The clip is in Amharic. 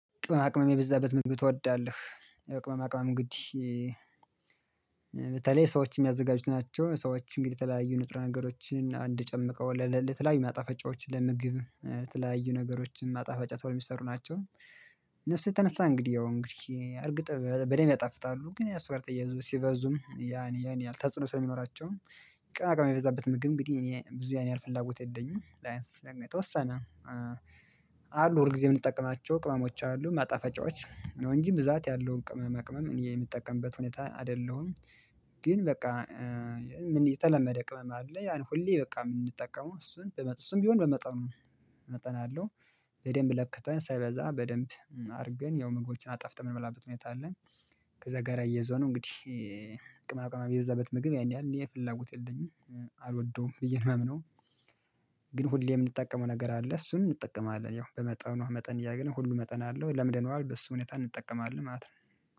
ቅመማ ቅመም የበዛበት ምግብ ትወዳለህያው የቅመማ ቅመም ግድ። በተለይ ሰዎች የሚያዘጋጁት ናቸው ሰዎች እንግዲህ የተለያዩ ንጥረ ነገሮችን በአንድ ጨምቀው ለተለያዩ ማጣፈጫዎች ለምግብ ለተለያዩ ነገሮችን ማጣፈጫ ተብለው የሚሰሩ ናቸው። እነሱ የተነሳ እንግዲህ ያው እንግዲህ እርግጥ በደንብ ያጣፍጣሉ ግን ያው እሱ ጋር ተያይዞ ሲበዙም ያን ያህል ተጽኖ ስለሚኖራቸው ቅመማ ቅመም የሚበዛበት ምግብ እንግዲህ እኔ ብዙ ያኔ ያህል ፍላጎት የለኝም። ቢያንስ የተወሰነ አሉ ሁልጊዜ የምንጠቅማቸው ቅመሞች አሉ ማጣፈጫዎች ነው እንጂ ብዛት ያለውን ቅመማ ቅመም እኔ የምጠቀምበት ሁኔታ አይደለሁም። ግን በቃ የተለመደ ቅመም አለ ያን ሁሌ በቃ የምንጠቀመው እሱን ቢሆን በመጠኑ መጠን አለው በደንብ ለክተን ሳይበዛ በደንብ አድርገን ያው ምግቦችን አጣፍጥ የምንመላበት ሁኔታ አለ። ከዛ ጋር አያይዞ ነው እንግዲህ ቅመማ ቅመም የበዛበት ምግብ ያን ያህል እኔ ፍላጎት የለኝም አልወደውም ብዬ ነው የማምነው። ግን ሁሌ የምንጠቀመው ነገር አለ እሱን እንጠቀማለን ያው በመጠኑ መጠን እያደርኝ ሁሉ መጠን አለው ለምደነዋል በሱ ሁኔታ እንጠቀማለን ማለት ነው